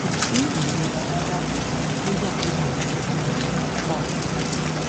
ko si irora rara nigba ti mo n lò elliptical